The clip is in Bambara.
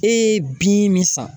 E ye bin min san.